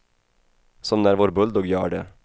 Som när vår bulldogg gör det.